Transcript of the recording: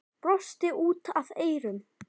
Brosti út að eyrum.